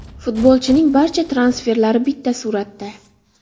Futbolchining barcha transferlari bitta suratda.